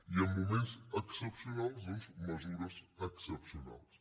i en moments excepcionals mesures excepcionals